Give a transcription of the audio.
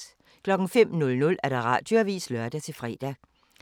05:00: Radioavisen (lør-fre)